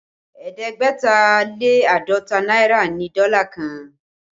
Ẹ̀ẹ́dẹ́gbẹ̀ta lé àádọ́ta náírà ni dọ́là kan